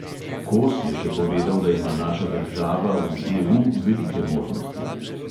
Kos je še povedal, da ima naša država v EU velike možnosti.